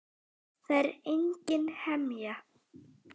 Það er engin hemja.